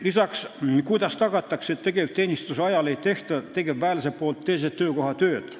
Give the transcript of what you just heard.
Lisaks, kuidas tagatakse, et tegevteenistuse ajal ei tee tegevväelane teise töökoha tööd?